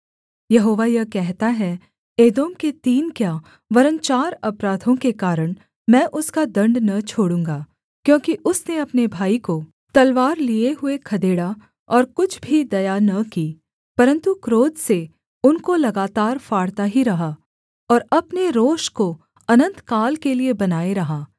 यहोवा यह कहता है एदोम के तीन क्या वरन् चार अपराधों के कारण मैं उसका दण्ड न छोड़ूँगा क्योंकि उसने अपने भाई को तलवार लिए हुए खदेड़ा और कुछ भी दया न की परन्तु क्रोध से उनको लगातार फाड़ता ही रहा और अपने रोष को अनन्तकाल के लिये बनाए रहा